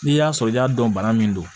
N'i y'a sɔrɔ i y'a dɔn bana min don